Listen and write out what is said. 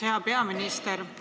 Hea peaminister!